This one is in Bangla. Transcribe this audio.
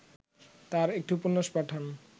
তাঁর একটি উপন্যাস পাঠান